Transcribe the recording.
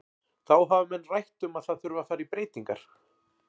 Þá hafa menn rætt um að það þurfi að fara í breytingar.